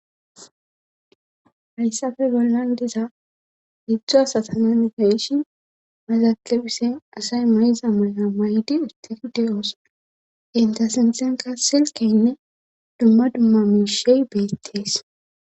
Hayssafe bollan diza hidzdzo asatanan gayishi mazakebise asay may7iza ma7a may7ydi istiride oosa inta sintenka silkeynne dumma dumma miishey beettees.